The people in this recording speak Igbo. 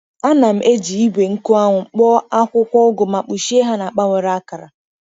Ana m eji igwe nkụ anwụ kpoo akwụkwọ ugu ma kpuchie ha na akpa nwere akara.